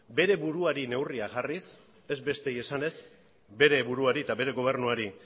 bere buruari neurria jarriz ez besteei esanez bere buruari eta bere gobernuari